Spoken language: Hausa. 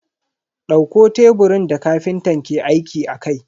Dauko teburin da kafintan ke aiki akai.